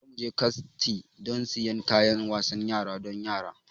Za mu je kaslnti don siyan kayan wasan yara don yara.